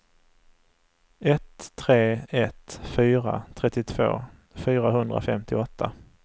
ett tre ett fyra trettiotvå fyrahundrafemtioåtta